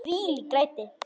Þvílík læti!